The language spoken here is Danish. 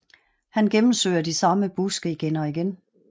Han gennemsøger de samme buske igen og igen